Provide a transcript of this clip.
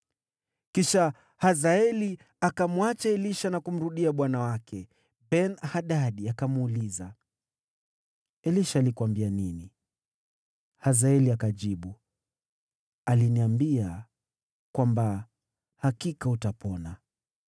Kisha Hazaeli akamwacha Elisha na kumrudia bwana wake. Ben-Hadadi akamuuliza, “Elisha alikuambia nini?” Hazaeli akajibu, “Aliniambia kwamba hakika utapona.”